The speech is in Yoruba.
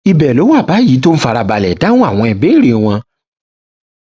ibẹ ló wà báyìí tó ń fara balẹ dáhùn àwọn ìbéèrè wọn